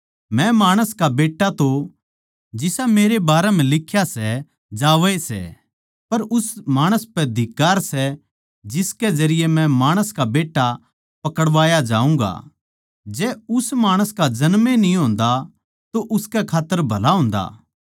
मै माणस का बेट्टा तो जिसा मेरे बारै म्ह लिख्या सै जावै ए सै पर उस माणस पै धिक्कार सै जिसकै जरिये मै माणस का बेट्टा पकड़वाया जाऊँगा जै उस माणस का जन्म ए न्ही होंदा तो उसकै खात्तर भला होंदा